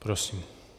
Prosím.